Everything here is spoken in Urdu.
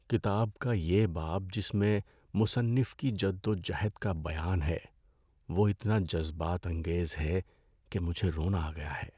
کتاب کا یہ باب جس میں مصنف کی جد و جہد کا بیان ہے وہ اتنا جذبات انگیز ہے کہ مجھے رونا آ گیا ہے۔